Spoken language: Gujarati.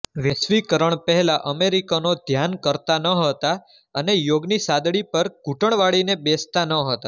વૈશ્વિકરણ પહેલા અમેરિકનો ધ્યાન કરતા નહોતા અને યોગાની સાદડી પર ઘૂંટણ વાળીને બેસતા નહોતા